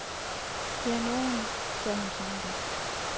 Der er nogen, sagde hun sammenbidt.